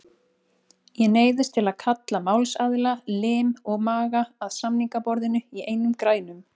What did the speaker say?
Ég neyðist til að kalla málsaðila, lim og maga, að samningaborðinu í einum grænum.